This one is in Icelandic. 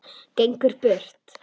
Gengur burt.